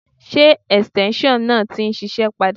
Ṣé ẹ̀sìtẹ́ńṣọ̀ náà ti ń ṣiṣẹ́ padà?